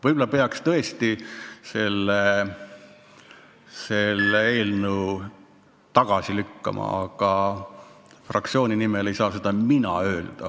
Võib-olla peaks tõesti selle eelnõu tagasi lükkama, aga fraktsiooni nimel ei saa seda mina öelda.